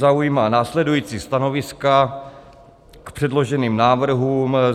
Zaujímá následující stanoviska k předloženým návrhům."